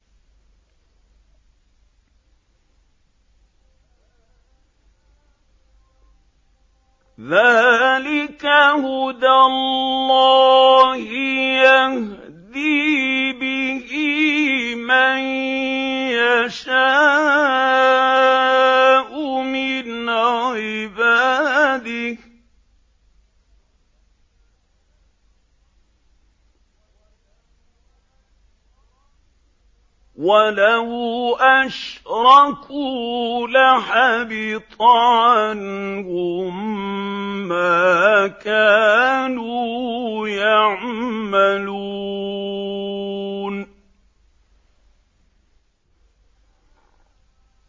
ذَٰلِكَ هُدَى اللَّهِ يَهْدِي بِهِ مَن يَشَاءُ مِنْ عِبَادِهِ ۚ وَلَوْ أَشْرَكُوا لَحَبِطَ عَنْهُم مَّا كَانُوا يَعْمَلُونَ